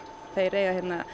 þeir eiga